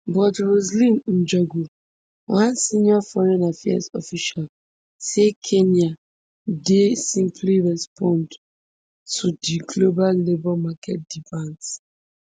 but roseline njogu one senior foreign affairs official say kenya dey simply respond to di global labour market demands